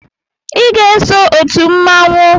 I ga-eso otu mmanwụ